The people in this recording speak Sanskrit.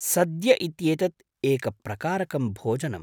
सद्य इत्येतत् एकप्रकारकं भोजनम्?